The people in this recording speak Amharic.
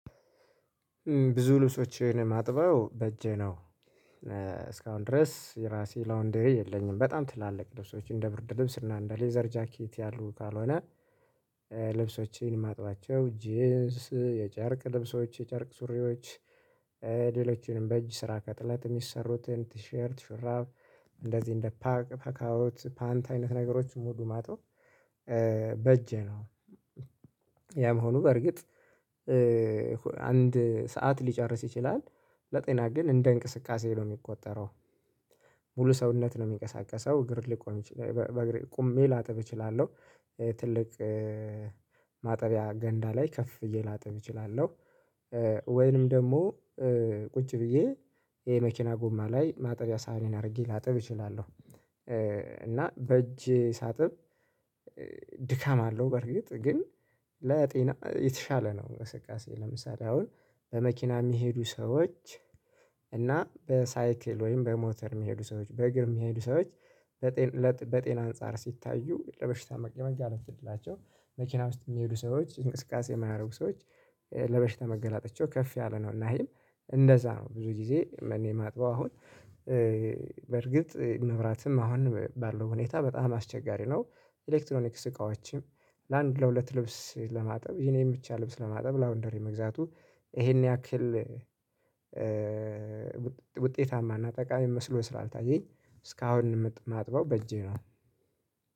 ብዙ ልብሶችን ማጥበው በእጄ ነው እስካሁን ድረስ የራሴ ላውንደሪ የለኝም። በጣም ትላልቅ ልብሶች እንደ ብርድ ልብስ እና እንደ ሌዘር ጃኬት ያሉ ካልሆነ። ልብሶችን ማጥባቸው ጅንስ የጨርቅ ልብሶች የጨርቅ ሱሪዎች። ሌሎችንም በእጅ ስራ ከጥለት ሚሰሩትን ቲሸርት ሹራብ እንደዚህ እንደ ፓክ ፓካውት ፓንት አይነት ነገሮችን ሙሉ ማጥበው። በእጄ ነው። ያም ሆኖ በርግጥ አንድ ሰዓት ሊጨርስ ይችላል። ለጤና ግን እንደ እንቅስቃሴ ነው ሚቆጠረው። ሙሉ ሰውነት ነው ሚንቀሳቀሰው እግር ሊቆም ቁሜ ላጥብ እችላለሁ። ትልቅ ማጠቢያ ገንዳ ላይ ከፍ ብየ ላጠብ እችላለሁ። ወይንም ደግሞ ቁጭ ብዬ ይሄ መኪና ጉማ ላይ ማጠቢያ ሳህኔን አድርጌ ላጥብ እችላለሁ። እና በእጅ ሳጥብ። ድካም አለው በርግጥ ግን ለጤና የተሻለ ነው። እንቅስቃሴ ለምሳሌ አሁን በመኪና የሚሄዱ ሰዎች እና በሳይክል ወይም በሞተር ሚሄዱ ሰዎች በእግር የሚሄዱ ሰዎች። በጤና አንፃር ሲታዩ ለበሽታ የመጋለጥ እድላቸው መኪና ውስጥ ሚሄዱ ሰዎች እንቅስቃሴ የማያደርጉ ሰዎች ለበሽታ መጋላጣቸው ከፍ ያለ ነው። እና ይሄም እንደዛ ነው ብዙ ጊዜ እኔ ማጥበው አሁን። በርግጥ መብራትም አሁን ባለው ሁኔታ በጣም አስቸጋሪ ነው። ኤሌክትሮኒክስ እቃዎችም ለአንድ ለሁለት ልብስ ለማጠብ የኔን ብቻ ልብስ ለማጠብ ላውንደሪ መግዛቱ ይሄን ያክል ውጤታማና ጠቃሚ መስሎ ስራ አልታየኝ። እስካሁን ማጥበው በእጄ ነው